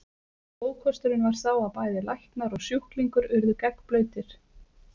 Ókosturinn var sá að bæði læknar og sjúklingur urðu gegnblautir.